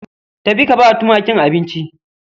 Tafi ka bawa tumakin abinci